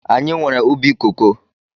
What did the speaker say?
Anyị nwere ubi koko